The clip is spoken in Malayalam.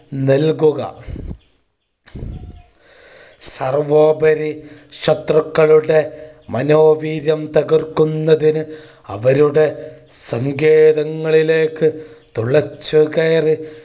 നൽകുക. സർവോപരി ശത്രുക്കളുടെ മനോവീര്യം തകർക്കുന്നതിന് അവരുടെ സങ്കേതങ്ങളിലേക്ക് തുളച്ചു കയറി